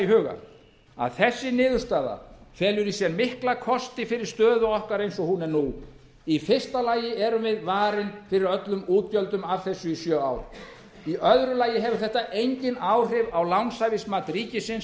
huga að þessi niðurstaða felur í sér mikla kosti fyrir stöðu okkar eins og hún er nú í fyrsta lagi erum við varin fyrir öllum útgjöldum af þess í sjö ár í öðru lagi hefur þetta engin áhrif á lánshæfismat ríkisins